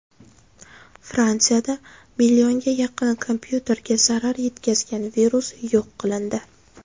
Fransiyada millionga yaqin kompyuterga zarar yetkazgan virus yo‘q qilindi.